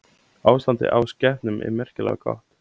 Ástandið á skepnum er merkilega gott